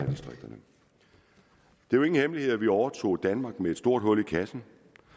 jo ingen hemmelighed at vi overtog danmark med et stort hul i kassen